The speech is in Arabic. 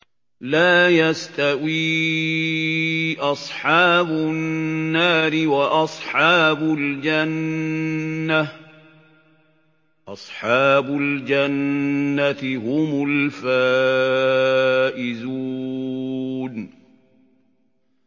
لَا يَسْتَوِي أَصْحَابُ النَّارِ وَأَصْحَابُ الْجَنَّةِ ۚ أَصْحَابُ الْجَنَّةِ هُمُ الْفَائِزُونَ